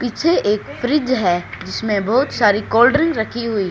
पीछे एक फ्रिज है जिसमें बहोत सारी कोल्ड ड्रिंक रखी हुई--